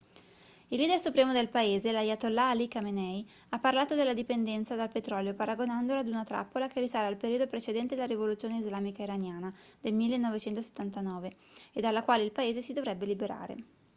il leader supremo del paese l'ayatollah ali khamenei ha parlato della dipendenza dal petrolio paragonandola ad una trappola che risale al periodo precedente la rivoluzione islamica iraniana del 1979 e dalla quale il paese si dovrebbe liberare